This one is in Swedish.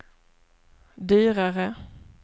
dyrare